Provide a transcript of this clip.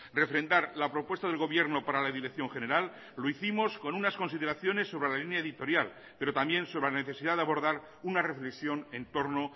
refrendar la propuesta del gobierno para la dirección general lo hicimos con unas consideraciones sobre la línea editorial pero también sobre la necesidad de abordar una reflexión en torno